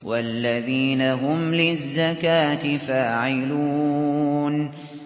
وَالَّذِينَ هُمْ لِلزَّكَاةِ فَاعِلُونَ